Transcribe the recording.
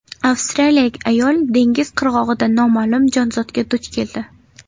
Avstraliyalik ayol dengiz qirg‘og‘ida noma’lum jonzotga duch keldi.